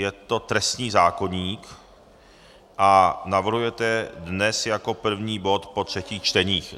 Je to trestní zákoník a navrhujete dnes jako první bod po třetích čteních.